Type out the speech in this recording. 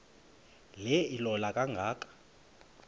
le ilola kangaka